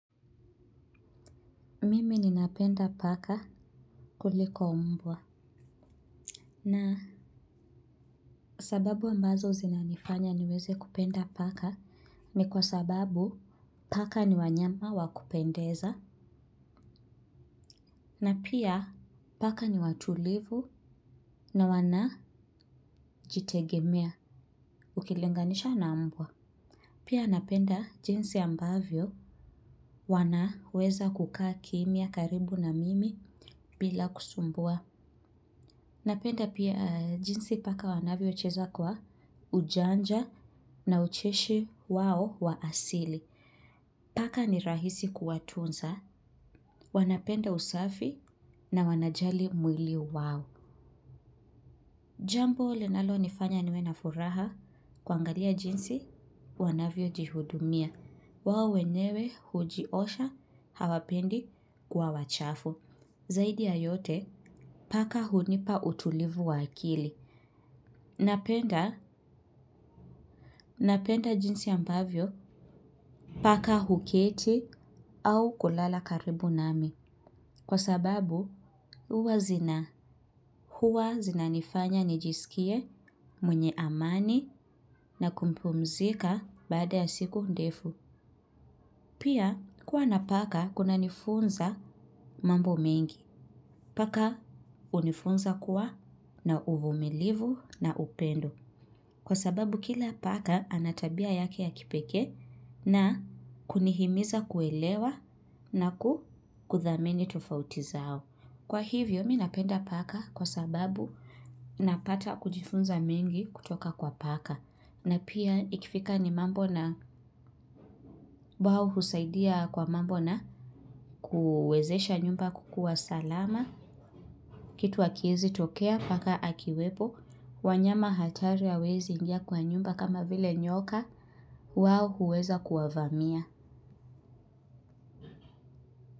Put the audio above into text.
Mimi ninapenda paka kuliko mbwa. Na sababu ambazo zinanifanya niweze kupenda paka ni kwa sababu paka ni wanyama wakupendeza. Na pia paka ni watulivu na wanajitegemea ukilinganisha na mbwa. Pia napenda jinsi ambavyo wanaweza kukaa kimya karibu na mimi bila kusumbua. Napenda pia jinsi paka wanavyocheza kwa ujanja na ucheshi wao wa asili. Paka ni rahisi kuwatunza, wanapenda usafi na wanajali mwili wao. Jambo linalonifanya niwe na furaha kuangalia jinsi wanavyojihudumia. Wao wenyewe hujiosha hawapendi kuwa wachafu. Zaidi ya yote paka hunipa utulivu wa akili. Napenda jinsi ambavyo paka huketi au kulala karibu nami. Kwa sababu huwa zina. Huwa zinanifanya nijisikie mwenye amani na kumpumzika baada ya siku ndefu. Pia kuwa na paka kunanifunza mambo mengi. Paka hunifunza kuwa na uvumilivu na upendo. Kwa sababu kila paka ana tabia yake ya kipekee na kunihimiza kuelewa na kuthamini tofauti zao. Kwa hivyo mi napenda paka kwa sababu napata kujifunza mengi kutoka kwa paka na pia ikifika ni mambo na wao husaidia kwa mambo na kuwezesha nyumba kukuwa salama, kitu hakiwezi tokea paka akiwepo, wanyama hatari hawaezi ingia kwa nyumba kama vile nyoka wao huweza kuwavamia.